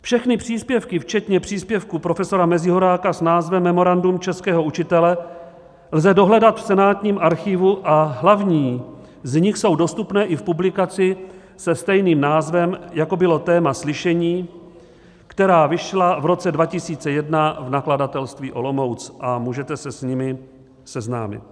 Všechny příspěvky včetně příspěvku profesora Mezihoráka s názvem Memorandum českého učitele lze dohledat v senátním archivu a hlavní z nich jsou dostupné i v publikaci se stejným názvem, jako bylo téma slyšení, která vyšla v roce 2021 v Nakladatelství Olomouc, a můžete se s nimi seznámit.